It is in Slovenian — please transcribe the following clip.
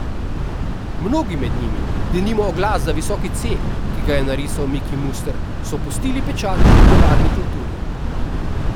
Mnogi med njimi, denimo oglas za visoki C, ki ga je narisal Miki Muster, so pustili pečat v popularni kulturi.